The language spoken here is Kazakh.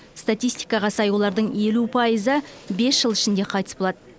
статистикаға сай олардың елу пайызы бес жыл ішінде қайтыс болады